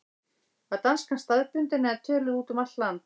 Var danskan staðbundin eða töluð út um allt land?